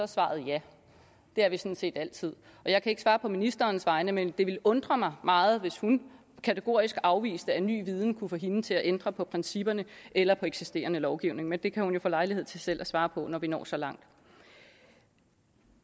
svaret ja det er vi sådan set altid jeg kan ikke svare på ministerens vegne men det ville undre mig meget hvis hun kategorisk afviste at ny viden kunne få hende til at ændre på principperne eller på eksisterende lovgivning men det kan hun jo få lejlighed til selv at svare på når vi når så langt